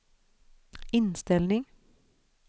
inställning